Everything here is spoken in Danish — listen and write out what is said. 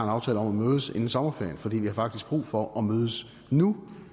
aftale om at mødes inden sommerferien for vi har faktisk brug for at mødes nu